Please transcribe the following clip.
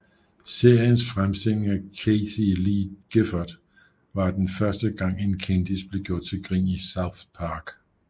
Seriens fremstilling af Kathie Lee Gifford var den første gang en kendis blev gjort til grin i South Park